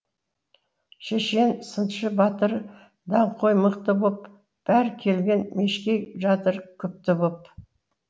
шешен сыншы батыр даңғой мықты боп бәрі келген мешкей жатыр күпті боп